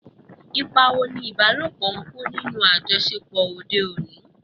Ipa wo ni ìbálòpọ̀ ń kó nínú àjọṣepọ̀ òde òní?